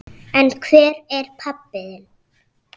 En hvar er pabbi þinn?